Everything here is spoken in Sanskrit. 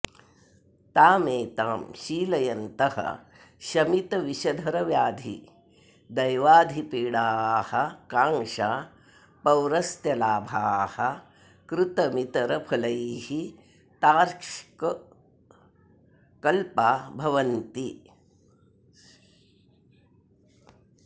तामेतां शीलयन्तः शमितविषधरव्याधि दैवाधिपीडाः काङ्क्षा पौरस्त्यलाभाः कृतमितरफलैस्तार्क्ष्यकल्पा भवन्ति